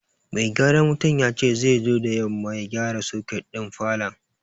Mai gyaran wuta ya ce zai zo da yamma ya gyara soket din falon.